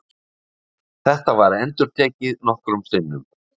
Þetta var endurtekið nokkrum sinnum.